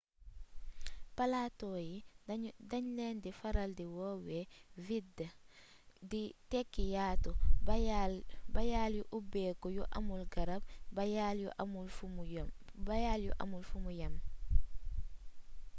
palato yi dañ leen di faral di woowee vidde di tekki yaatu bayaal yu ubbeeku yu amul garab bayaal bu amul fumu yem